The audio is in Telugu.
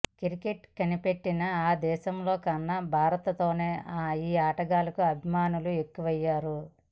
క్రికెట్ కనిపెట్టిన ఆ దేశంలో కన్నా భారత్లోనే ఈ ఆటకు అభిమానులు ఎక్కువయ్యారు